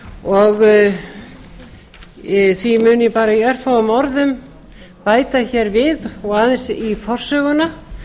og í því mun ég bara í örfáum orðum bæta hér við og aðeins í forsöguna